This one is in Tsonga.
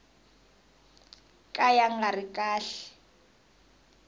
ka ya nga ri kahle